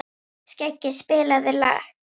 Skeggi, spilaðu lag.